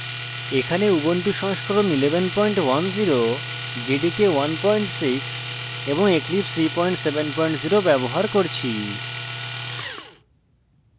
এখানে